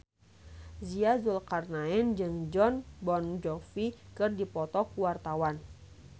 Nia Zulkarnaen jeung Jon Bon Jovi keur dipoto ku wartawan